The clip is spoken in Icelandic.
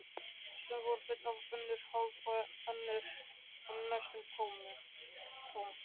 Sum voru full, önnur hálf og enn önnur næstum tóm.